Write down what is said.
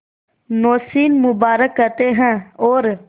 नौशीन मुबारक कहते हैं और